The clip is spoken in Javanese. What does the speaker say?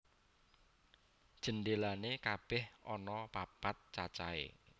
Jendelané kabèh ana papat cacahé